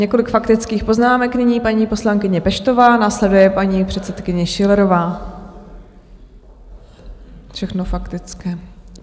Několik faktických poznámek, nyní paní poslankyně Peštová, následuje paní předsedkyně Schillerová, všechno faktické.